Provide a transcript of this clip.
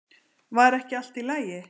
Var ekki allt í lagi?